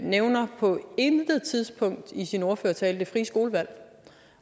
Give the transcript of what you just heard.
nævner på intet tidspunkt i sin ordførertale det frie skolevalg